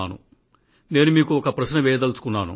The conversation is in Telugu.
మీకు నేను ఒక ప్రశ్న వేయాలనుకున్నాను